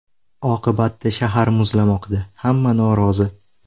Oqibatda shahar muzlamoqda, hamma norozi.